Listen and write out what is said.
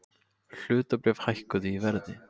Hlutabréf hækkuðu í verði